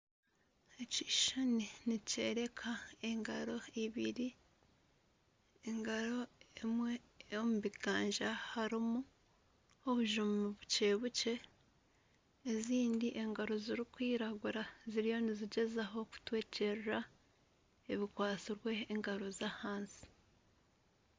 Ekishushani nikyoreka engaro ibiri engaro emwe omu biganja harimu obujuma bukye-bukye ezindi engaro zirikwiragura ziriyo nizigyezaho kutwekyerera ebikwatsirwe engaro zahansi.